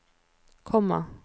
komma